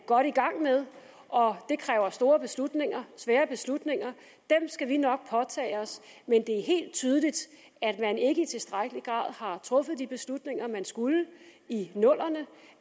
godt i gang med og det kræver store beslutninger svære beslutninger dem skal vi nok påtage os men det er helt tydeligt at man ikke i tilstrækkelig grad har truffet de beslutninger man skulle i nullerne